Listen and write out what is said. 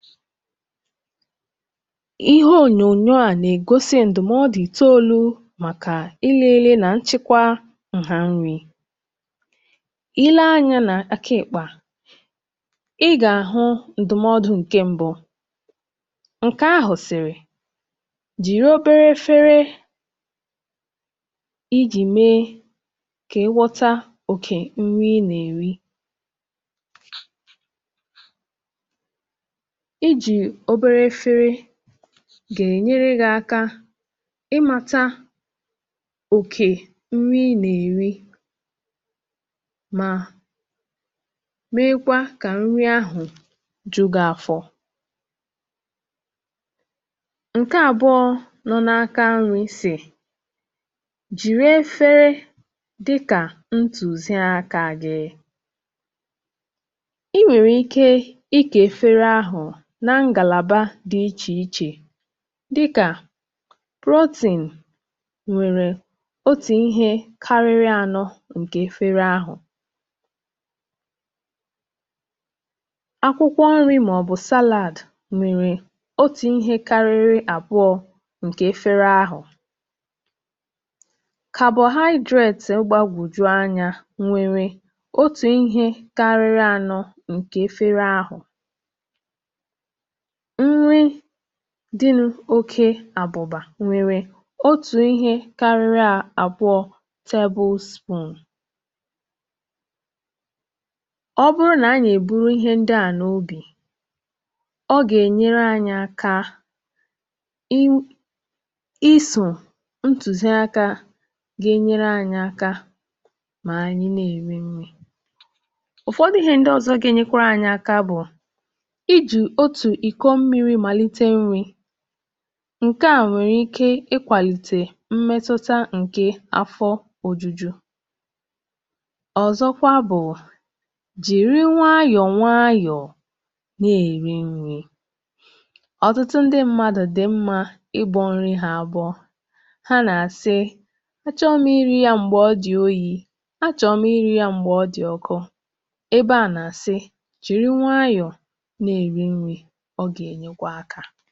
Ònyònyò ahụ̀ nà-egosi ndụ̀mọdụ̀ itoolu maka nlele na nchekwa nri Ndụ̀mọdụ̀ nke mbụ̀ sị̀ nà ị ga-eji efere nta mgbe ị̀ nà-ènyè nri. Ị̀jì efere nta na-enyere gị aka ịchịkwa otu nri ị̀ nà-èrí, ma na-egbochi ị̀rì oke nri um. Ọ na-enyekwa afọ gị aka ị̀jụ ngwa ngwa. Ndụ̀mọdụ̀ nke abụọ̀ kọ̀wara nà nri gị̀ kwesịrị ịgụnye ụ̀dị nri dị iche iche. N’efere gị̀, ị ga-enwe ihe dị ka otu akụkụ maka protein, otu akụkụ maka carbohydrate, ma ihe dị ka ọkara efere maka akwụkwọ nri maọ̀bụ̀ salad um. Ndụ̀mọdụ̀ nke atọ̀ sị̀ nà ị̀ kwesịrị ị̀belata nri ndị̀ nwere ọkụ̀bara mmanụ̀ maọ̀bụ̀ abụ̀bà. Ị̀ gaghị eri ihe karịrị karama abụọ̀ nke nta nke nri ndị a. Ọ bụrụ̀ na anyị̀ echeta ihe ndị a um, ọ gà-enyere anyị aka ị̀mepụta àgwà nri dị mma ma na-eme ka ahụ̀ anyị dịrị̀ n’ọ̀tọ. Ihe ndụ̀mọdụ̀ ọzọ̀ bụ̀ ị̀rì nri nwayọ̀ nwayọ̀ um. Ọ̀tụtụ ndị mmadụ̀ na-èrí nri ngwa ngwa, wee sị̀ na ha chọrọ mmiri ozugbo maọ̀bụ̀ n’ihi na nri ahụ̀ bụ́ ọkụ́, maọ̀bụ̀ n’ihi na ha gà-rìchaa ngwa ngwa. Mgbe anyị̀ sòrò ndụ̀mọdụ̀ ndị a, ọ gà-enyere anyị aka imeju afọ nke ọma, zèe iri oke nri, ma biri ndụ̀ dị mma.